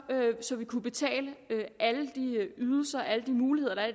så vi kunne betale alle de ydelser alle de muligheder der